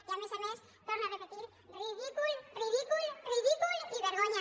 i a més a més ho torno a repetir ridícul ridícul ridícul i vergonya